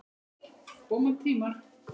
Koma tímar!